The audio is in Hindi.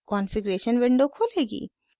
कॉन्फ़िग्रेशन विंडो खुलेगी